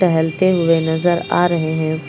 टहलते हुए नजर आ रहे हैं।